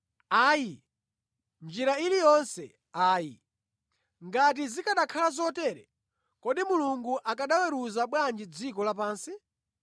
Ayi. Mʼnjira iliyonse ayi! Ngati zikanakhala zotero, kodi Mulungu akanaweruza bwanji dziko lapansi?